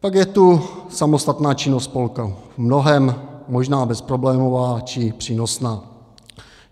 Pak je tu samostatná činnost spolku, v mnohém možná bezproblémová či přínosná.